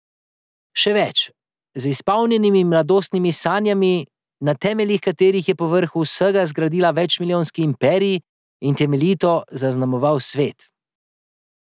Še več, z izpolnjenimi mladostnimi sanjami, na temeljih katerih je povrhu vsega zgradil večmilijonski imperij in temeljito zaznamoval svet.